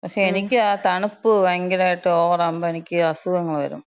പക്ഷേ, എനിക്കാ തണുപ്പ് ഭയങ്കരായിട്ട്, ഓവറാവുമ്പം എനിക്ക് അസുഖങ്ങള് വെരും.